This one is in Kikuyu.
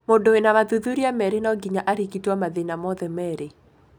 Mũndũ wĩna mathuthuria merĩ no ginya arigitwo mathĩna mothe merĩ.